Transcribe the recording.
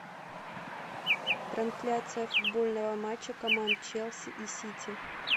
трансляция футбольного матча команд челси и сити